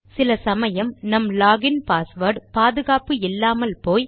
சில சமயம் நம் லாக் இன் பாஸ்வேர்ட் பாதுகாப்பு இல்லாமல் போய்